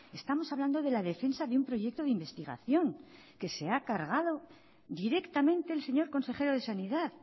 estamos hablando de la defensa de un proyecto de investigación que se ha cargado directamente el señor consejero de sanidad